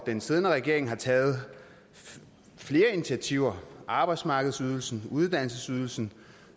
den siddende regering har taget flere initiativer arbejdsmarkedsydelsen uddannelsesydelsen